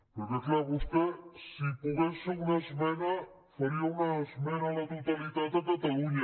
perquè clar vostè si pogués fer una esmena faria una esmena a la totalitat a catalunya